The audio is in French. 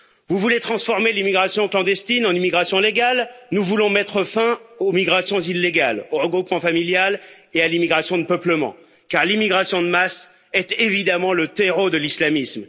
Vous voulez transformer l'immigration clandestine en immigration légale, nous voulons mettre fin aux migrations illégales, au regroupement familial et à l'immigration de peuplement, car l'immigration de masse est évidemment le terreau de l'islamisme.